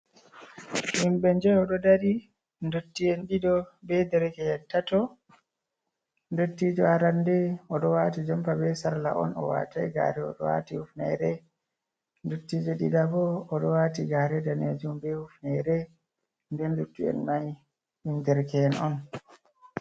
Himɓe je odo dari dotti en ɗido be derekeen tatto dottijo arande odo wati jompa be sarla on o watai gare odo wati hufnere dottijo dida bo odo wati gare danejum be hufnere nder dotti’en nai ɗum derke’en on.